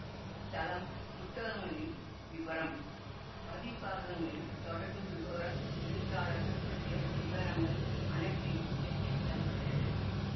இத்தளம் புத்தகங்களின் விவரம் பதிப்பகங்களின் தொடர்பு விவரம் எழுத்தாளர்கள் பற்றிய விபரங்கள் அனைத்தையும் திரட்டித் தருகிறது